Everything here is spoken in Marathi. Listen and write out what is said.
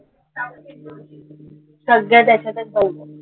सगळं त्याच्यातचं